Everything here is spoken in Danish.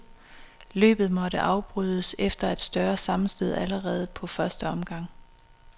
Løbet måtte afbrydes efter et større sammenstød allerede på første omgang.